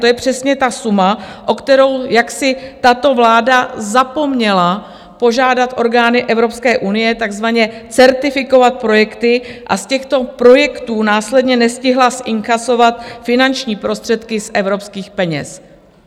To je přesně ta suma, o kterou jaksi tato vláda zapomněla požádat orgány Evropské unie, takzvaně certifikovat projekty, a z těchto projektů následně nestihla zinkasovat finanční prostředky z evropských peněz.